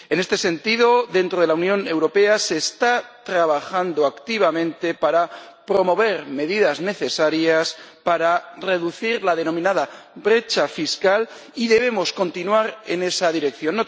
En este sentido, dentro de la Unión Europea se está trabajando activamente para promover medidas necesarias para reducir la denominada brecha fiscal, y debemos continuar en esa dirección.